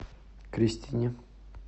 кристине